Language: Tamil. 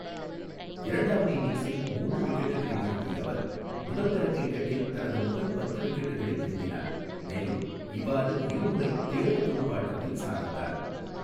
இரண்டாவது இன்னிங்ஸில் மூன்று விக்கெட்டுகளை வீழ்த்திய அவர், முதல் தர கிரிக்கெட்டில் தனது முதல் பத்து விக்கெட்டுகளை வீழ்த்தினார், மேலும் இவ்வாறு இரு முறை தேர்வு துடுப்பாட்டத்தில் சாதித்தார்.